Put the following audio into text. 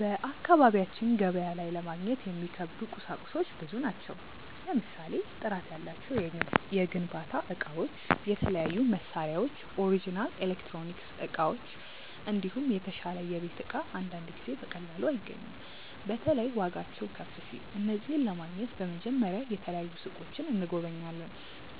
በአካባቢያችን ገበያ ላይ ለማግኘት የሚከብዱ ቁሳቁሶች ብዙ ናቸው። ለምሳሌ ጥራት ያላቸው የግንባታ እቃዎች፣ የተለያዩ መሳሪያዎች፣ ኦሪጅናል ኤሌክትሮኒክስ እቃዎች፣ እንዲሁም የተሻለ የቤት እቃ አንዳንድ ጊዜ በቀላሉ አይገኙም። በተለይ ዋጋቸው ከፍ ሲል። እነዚህን ለማግኘት በመጀመሪያ የተለያዩ ሱቆችን እንጎበኛለን፣